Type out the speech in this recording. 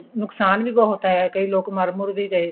ਨੁਕਸਾਨ ਵੀ ਬਹੁਤ ਹੋਇਆ ਕਈ ਲੋਕ ਮਰ ਮੁਰ ਵੀ ਗਏ